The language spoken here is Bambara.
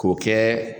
K'o kɛ